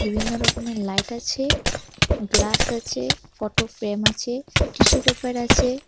বিভিন্ন রকমের লাইট আছে গ্লাস আছে ফটোফ্রেম আছে টিস্যু পেপার আছে।